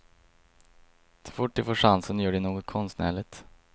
Så fort de får chansen gör de något konstnärligt.